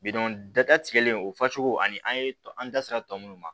dada tigɛlen o fasugu ani an ye an da sera tɔ minnu ma